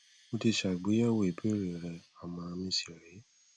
mo ti ṣe àgbéyẹwò ìbéèrè rẹ àmọràn mi sì rè é